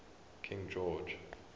king george